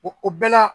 o bɛɛ la